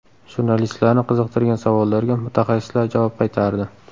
Jurnalistlarni qiziqtirgan savollarga mutaxassislar javob qaytardi.